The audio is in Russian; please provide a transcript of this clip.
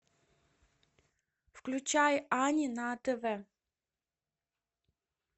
включай ани на тв